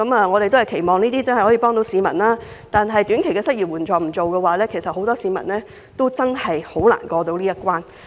我們期望這些措施真能幫助市民，但若沒有短期失業援助金，很多市民都捱不過這個難關。